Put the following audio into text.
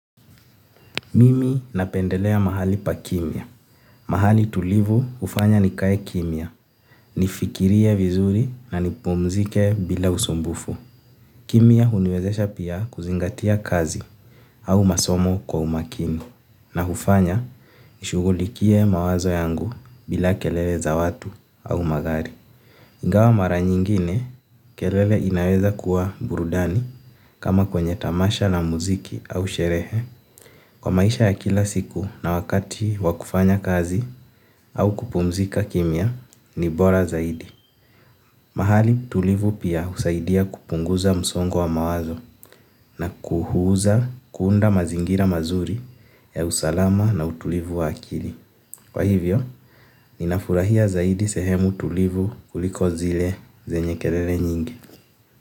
Mimi napendelea mahali pa kimya. Mahali tulivu hufanya nikae kimya. Nifikirie vizuri na nipumzike bila usumbufu. Kimya huniwezesha pia kuzingatia kazi au masomo kwa umakini. Na hufanya nishughulikie mawazo yangu bila kelele za watu au magari. Ingawa mara nyingine kelele inaweza kuwa burudani kama kwenye tamasha la muziki au sherehe. Kwa maisha ya kila siku na wakati wa kufanya kazi au kupumzika kimya ni bora zaidi. Mahali tulivu pia husaidia kupunguza msongo wa mawazo na kuhuza kuunda mazingira mazuri ya usalama na utulivu wa akili. Kwa hivyo ninafurahia zaidi sehemu tulivu kuliko zile zenye kelele nyingi.